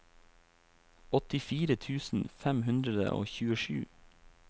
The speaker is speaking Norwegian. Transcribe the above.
åttifire tusen fem hundre og tjuesju